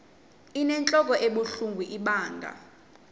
inentlok ebuhlungu ibanga